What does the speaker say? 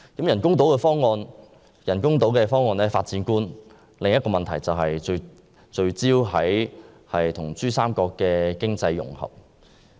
人工島方案的發展觀還有另一個問題，就是聚焦於與珠三角的經濟融合。